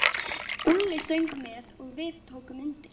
Úlli söng með og við tókum undir.